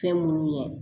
Fɛn munnu ye